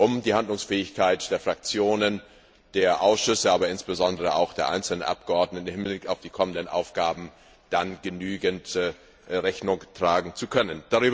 um der Handlungsfähigkeit der Fraktionen, der Ausschüsse, aber insbesondere auch der einzelnen Abgeordneten im Hinblick auf die kommenden Aufgaben genügend Rechnung tragen zu können.